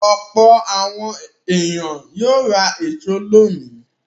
Ọ̀pọ̀ àwọn ènìyàn yóò ra èso lónìí.